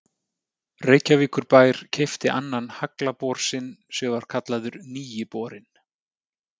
Reykjavíkurbær keypti annan haglabor sinn sem var kallaður Nýi borinn.